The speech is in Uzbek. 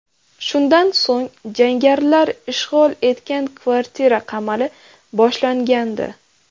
Shundan so‘ng jangarilar ishg‘ol etgan kvartira qamali boshlangandi.